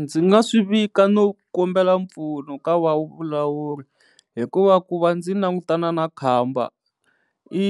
Ndzi nga swivika no kombela mpfuno ka va vulawuri hikuva ku va ndzi langutana na khamba i